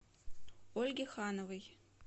ольге хановой